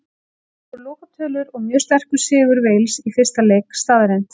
Það voru lokatölur og mjög sterkur sigur Wales í fyrsta leik staðreynd.